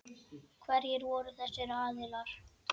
Hverjir voru þessir aðilar?